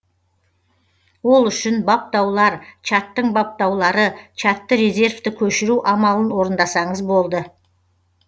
ол үшін баптаулар чаттың баптаулары чатты резервті көшіру амалын орындасаңыз болды